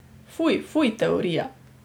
Fuj, fuj, teorija.